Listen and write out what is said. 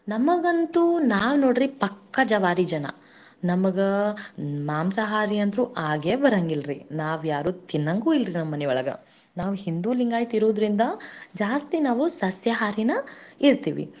ಅದಕ್ಕ ನನ್ನ ಉದ್ದೇಶ ಅಂದ್ರ ನನ್ನ ಮನಸ್ಸಿನ ಭಾವನೆಗಳನ್ನಾ ನಾನ್ ಹೇಳಾಕ ಇಷ್ಟಾ ಪಡ್ತಿನಿ ನಾವ್ ಯಾಕ್ ಸಸ್ಯಾಹಾರಿ ಇಷ್ಟ ಪಡ್ತಿವಿ ಈಗ ನೋಡ್ರಿ ನಾವ್ ರೈತರನ್ನ ಬೆಳಸಬೇಕು ಈಗ ನಮ್ ರೈತನೆ ನಮ್ ದೇಶದ ಬೆನ್ನೆಲಬು ಅಂತ ಹೇಳಿಕೊಂಡು ಹೋಗ್ತೇವಿ.